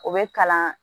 O bɛ kalan